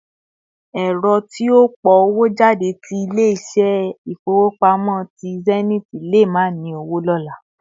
Èrò tí ó pọ̀ owó jáde ti ilé ìṣe ifowopamọ tí Zenith lè má ni owo lóla